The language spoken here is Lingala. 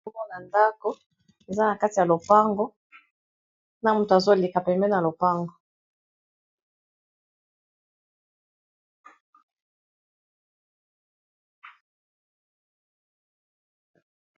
Tozomona ndako, eza na kati ya lopango na moto azoleka pembeni ya lopango.